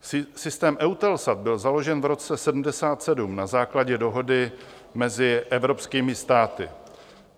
Systém EUTELSAT byl založen v roce 1977 na základě dohody mezi evropskými státy.